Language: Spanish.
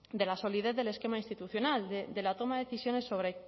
de la solidez del esquema institucional de la toma de decisiones